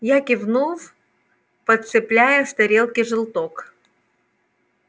я кивнул подцепляя с тарелки желток